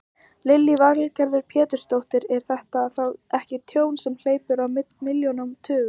Lillý Valgerður Pétursdóttir: Er þetta þá ekki tjón sem hleypur á milljónum, tugum?